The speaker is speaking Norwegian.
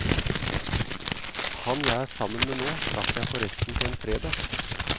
Han jeg er sammen med nå, traff jeg forresten på en fredag!